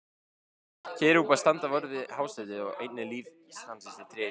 Kerúbar standa vörð um hásætið og einnig lífsins tré í Paradís.